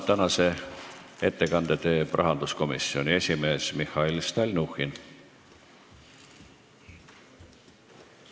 Tänase kolmanda ettekande peab rahanduskomisjoni esimees Mihhail Stalnuhhin.